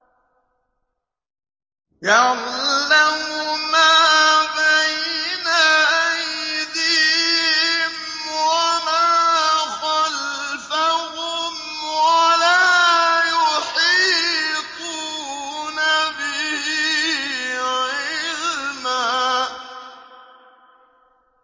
يَعْلَمُ مَا بَيْنَ أَيْدِيهِمْ وَمَا خَلْفَهُمْ وَلَا يُحِيطُونَ بِهِ عِلْمًا